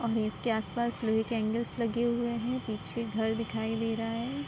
और इसके आस-पास लोहे के एंगल्स लगे हुए है। पीछे घर दिखाई दे रहा हैं।